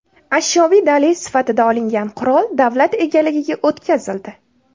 Ashyoviy dalil sifatida olingan qurol davlat egaligiga o‘tkazildi.